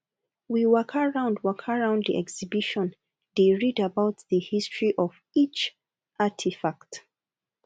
we waka round waka round di exhibition dey read about di history of each artifact